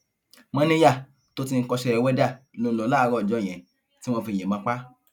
mòníyá tó ti ń kọṣẹ wẹdà ló ń lò láàárọ ọjọ yẹn tí wọn fi yíbọn pa á